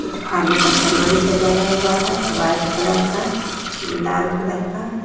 कुछ खाने का सामान सजाया हुआ है वाइट कलर का लाल कलर का।